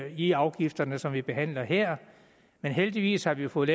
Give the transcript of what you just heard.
i afgifterne som vi behandler her men heldigvis har vi jo fået